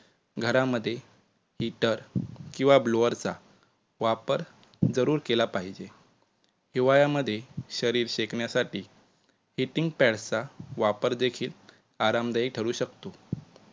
घरामध्ये heater किंवा blower चा वापर जरूर केला पाहिजे. हिवाळ्या मध्ये शरीर शेकण्यासाठी heating pad चा वापर देखील आरामदायी ठरू शकतो.